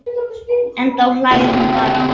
En þá hlær hún bara.